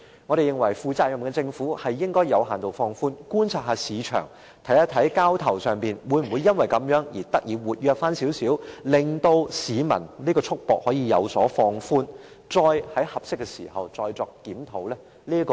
一個負責任的政府應該先作有限度放寬，再觀察市場交投量會否變得稍為活躍，令市民的束縛有所放寬，並在合適時候再作檢討。